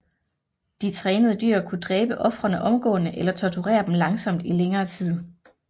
De trænede dyr kunne dræbe ofrene omgående eller torturere dem langsomt i længere tid